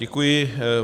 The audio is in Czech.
Děkuji.